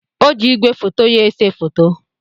O ji igwefoto ya ese foto.